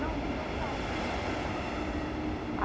Não, não estão pagas. a